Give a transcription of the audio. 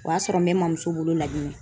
O y'a sɔrɔ n bɛ ma muso bolo Laginɛ.